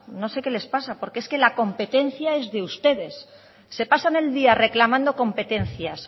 no sé qué les pasa porque es que la competencia es de ustedes se pasan el día reclamando competencias